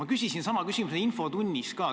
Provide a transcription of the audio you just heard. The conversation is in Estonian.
Ma küsisin sama küsimuse ka infotunnis.